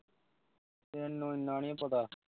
ਤੈਨੂੰ ਐਨਾ ਨੀ ਪਤਾ